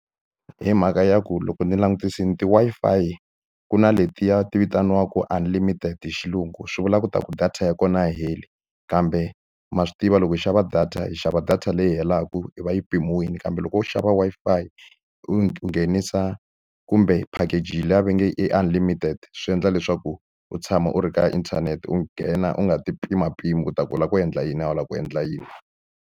Hi mhaka ya ku loko ni langutisile ti-Wi-Fi ku na letiya ti vitaniwaka unlimited hi xilungu swi vula leswaku data ya kona a yi heli. Kambe ma swi tiva loko hi xava data hi xava data leyi helaka, yi va yi pimiwile. Kambe loko u xava Wi-Fi u yi nghenisa kumbe package leya va nge i unlimited, swi endla leswaku u tshama u ri ka inthanete. U nghena u nga ti pimapimi leswaku u lava ku endla yini, a wu lavi ku endla yini.